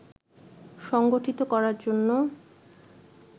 সংগঠিত করার জন্য